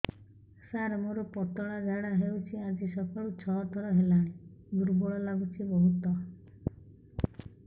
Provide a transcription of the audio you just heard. ସାର ମୋର ପତଳା ଝାଡା ହେଉଛି ଆଜି ସକାଳୁ ଛଅ ଥର ହେଲାଣି ଦୁର୍ବଳ ଲାଗୁଚି ବହୁତ